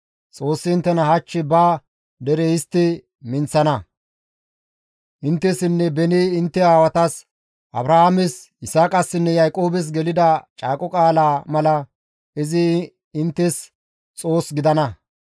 Xoossi inttena hach ba dere histti minththana; inttessinne beni intte aawatas, Abrahaames, Yisaaqassinne Yaaqoobes gelida caaqo qaalaa mala izi inttes Xoos gidana.